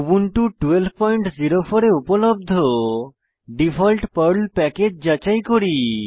Ubuntu 1204 এ উপলব্ধ default Perl package যাচাই করি